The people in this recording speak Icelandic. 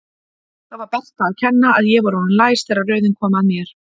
Það var Berta að kenna að ég var orðinn læs þegar röðin kom að mér.